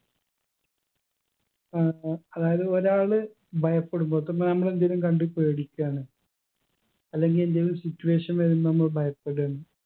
ഏർ അതായത് ഒരാള് ഭയപ്പെടുമ്പോ ഇപ്പൊ നാം രണ്ടുപേരും കണ്ട് പേടിക്കാണ് അല്ലെങ്കി എന്തേലും situation വരുമ്പോ നമ്മള് ഭയപ്പെടാണ്